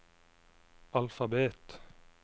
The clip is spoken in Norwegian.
alfabet